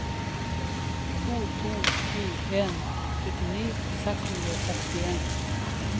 to to sju en syttini seks hundre og sekstien